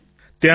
Shri Hari જી